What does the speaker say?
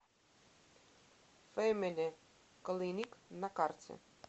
фэмили клиник на карте